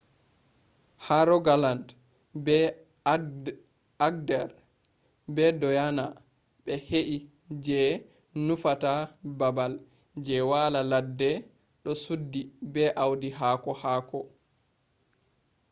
ha rogaland be agder be dyona be ‘hei” je nufata babal je wala ledde do suddi be audi haako haako